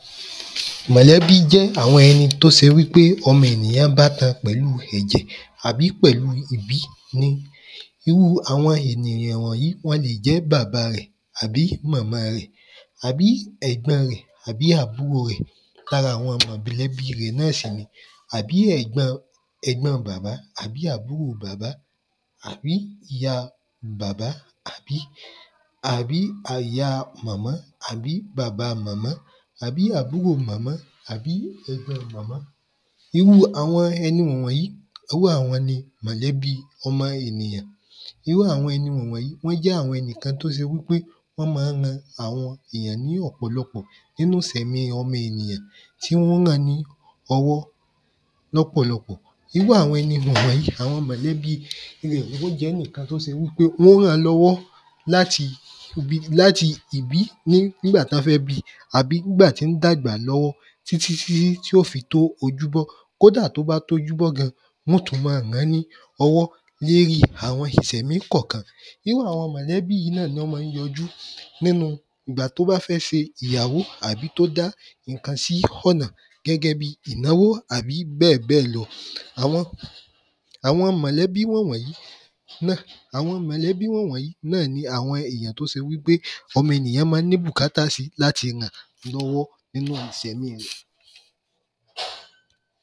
Mọ̀lẹ́bí jẹ́ àwọn ẹni tó se wí pé ọmọ ènìyàn bá tan pẹ̀lúu ẹ̀jẹ̀ àbí pẹ̀lúu ìbí ní irúu àwọn ènìyàn wọ̀nyí wọn lè jẹ́ bàba rẹ̀ àbí mọ̀mọ rẹ̀ àbí ẹ̀gbọn rẹ̀ àbí àbúrò rẹ̀ lára àwọn mọ̀lẹ́bí rẹ̀ náà ṣì ni àbí ẹ̀gbọn ẹ̀gbọn bàbá àbí àbúrò bàbá àbí ìyá bàbá àbí àbí àya mọ̀mọ́ àbí bàba màmá àbí àbúrò màmá àbí ẹ̀gbọn màmá irúu àwọn ẹni wọ̀n wọ̀n yìí iwú àwọn ni mọ̀lẹ́bí ọmọ ènìyàn irúu àwọn ẹni wọ̀n wọ̀n yìí wọ́n jẹ́ àwọn ẹni kan tó se wí pé wọ́n ma ń ran àwọn èyàn ní ọ̀pọ̀lọpọ̀ nínú isẹ̀mi ọmọ ènìyàn tí wọ́n ó ran ni ọwọ́ lọ́pọ̀lọpọ̀ irú àwọn ẹni wọ̀n wọ̀n yìí àwọn mọ̀lẹ́bi lèmọ́ jẹ́níkan tó se wí pé wọ́n ó ràn-án lọ́wọ́ láti ìbí ní nígbà tọ́ fẹ́ bi àbí nígbà tí ń dàgbà lọ́wọ́ tí tí tí tí ó fi tó ojúbọ́ kódà tó bá tójúbọ́ gan wọ́n ó tú ma ràn-án ní ọwọ́ léri àwọn ìṣẹmí kọ̀kan irú àwọn mọ̀lẹ́bí yí náà lọ́ ma ń yọjú nínu ìgbà tó bá fẹ́ ṣe ìyàwo àbí tó dá ìnkan sí họ́nà gẹ́gẹ́ ìnáwó àbí bẹ́ẹ̀ bẹ́ẹ̀ lọ àwọn àwọn mọ̀lẹ́bí wọ̀n wọ̀n yìí àwọn mọ̀lẹ́bí wọ̀n wọ̀n yìí náà ni àwọn ènìyàn tó se wí pé ọmọ ènìyàn má ń ní bùkátà sí láti ràn lọ́wọ́ nínú ìsẹ̀mi rẹ̀